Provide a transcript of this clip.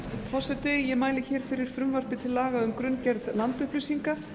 forseti ég mæli fyrir frumvarpi til laga um grunngerð landupplýsinga